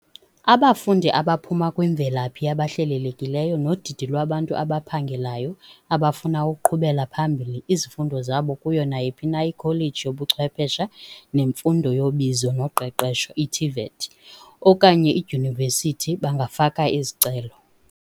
Abafundi abaphuma kwimvelaphi yabahlelelekileyo nodidi lwabantu abaphangelayo abafuna ukuqhubela phambili izifundo zabo kuyo nayiphi na ikholeji yobuChwepheshe neMfundo yoBizo noQeqesho, i-TVET, okanye idyunivesithi bangafaka izicelo.